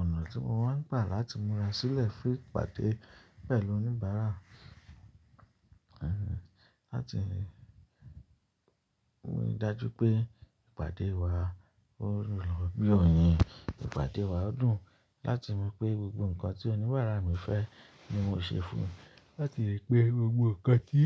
Ọ̀nà tí mo máa ń gbà láti múra sílẹ̀ fún ìpàdé pẹ̀lú oníbàárà, láti rí i dájú pé ìpàdé wa ó rùn lọ bí oyin, ìpàdé wa ó dùn, láti mú pé gbogbo nǹkan tí oníbàárà mi fẹ́ ni mo ṣe fún un, láti rí pé gbogbo nǹkan tí